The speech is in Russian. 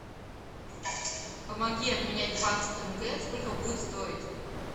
помоги обменять двадцать тенге сколько будет стоить